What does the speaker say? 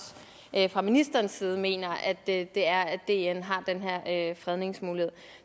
fra ministerens side mener det er at dn har den her fredningsmulighed